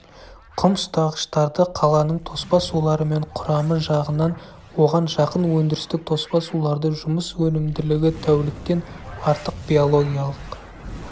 құм ұстағыштарды қаланың тоспа сулары мен құрамы жағынан оған жақын өндірістік тоспа суларды жұмыс өнімділігі тәуліктен артық биологиялық